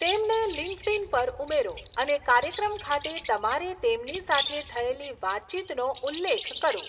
તેમને લિંક્ડઇન પર ઉમેરો અને કાર્યક્રમ ખાતે તમારે તેમની સાથે થયેલી વાતચીતનો ઉલ્લેખ કરો.